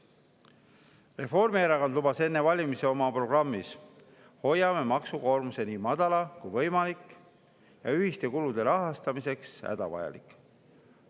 Reformierakond lubas enne valimisi oma programmis: "Hoiame maksukoormuse nii madala kui võimalik ja ühiste kulude rahastamiseks hädavajalik.